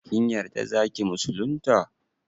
Kin yarda zaki musulunta?